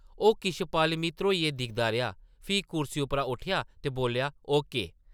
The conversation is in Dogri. ओह् किश पल मी ध्रोइयै दिखदा रेहा, फ्ही कुर्सी उप्परा उट्ठेआ ते बोल्लेआ, ओ. के. ।